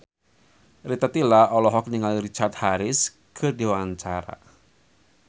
Rita Tila olohok ningali Richard Harris keur diwawancara